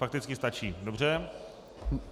Fakticky stačí, dobře.